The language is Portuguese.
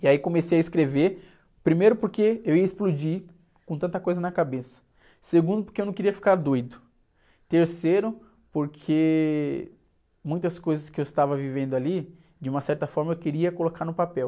E aí comecei a escrever, primeiro porque eu ia explodir com tanta coisa na cabeça, segundo porque eu não queria ficar doido, terceiro porque muitas coisas que eu estava vivendo ali, de uma certa forma eu queria colocar no papel.